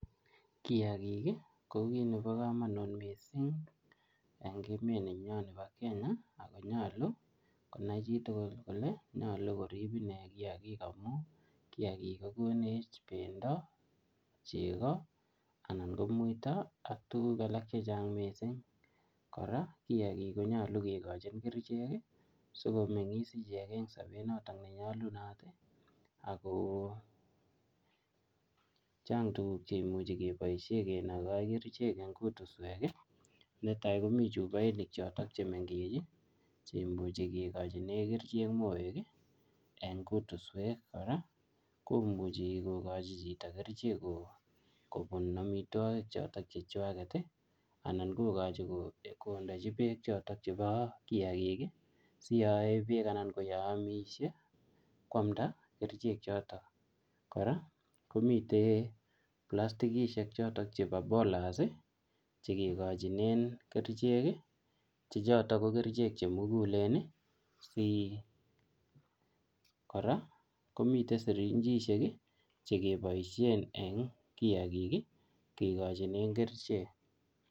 kiagikii kokit nepo komonut mising en emet nenyon nepo kenya agonyolu konai chitugul kole nyolu korib inee kiagik amun kiagik kokonech bendo chego ananko muito ak tuguk chechang mising kora kiagik konyolu kikochi kerchek ii sikomengis ichek en sopet notok nenyolunoti akoo chang tuguk chekimuche keboishen kinoko kerchek eng kutusweki neta komi chupoishek choton chemengech chekimuche kikochinen kerchek moeki en kutuswek kora komuche kokochi chito kerichek kobun amitwokik choton chechwaketi anan kokochi kondechi beek choton chebo kiagiki siyoeebeek anan koamishe koamnda kerchek choton kora komiten plastikisiek chotok chebo bolas chegikojinen kericheki choton kokerichek chemuguleni kora komiten sirinchisheki chekeboishen en kiagiki kogochinen kerichek